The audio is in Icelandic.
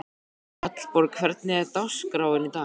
Hallborg, hvernig er dagskráin í dag?